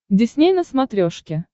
дисней на смотрешке